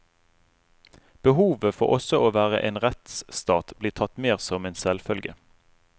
Behovet for også å være en rettsstat blir tatt mer som en selvfølge.